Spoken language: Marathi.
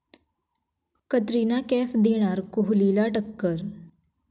कतरिना कैफ देणार कोहलीला टक्कर!